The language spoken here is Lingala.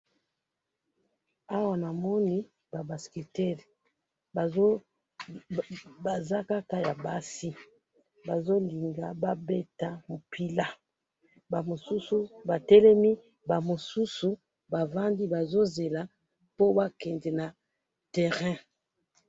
Awa namoni ba basketeurs, baza kaka ya basi, bazo linga ba beta mupila, ba mosusu ba telemi, ba mosusu bavandi bazo zela po ba kende na terrain